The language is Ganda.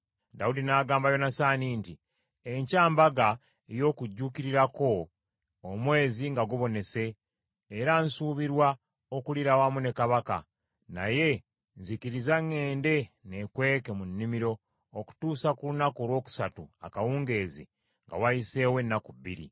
Dawudi n’agamba Yonasaani nti, “Enkya mbaga ey’okujuukirirako omwezi nga gubonese era nsubirwa okuliira awamu ne kabaka, naye nzikiriza ŋŋende ne kweke mu nnimiro okutuusa ku lunaku olwokusatu akawungeezi nga wayiseewo ennaku bbiri.